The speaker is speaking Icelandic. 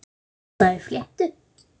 Alltaf í fléttu.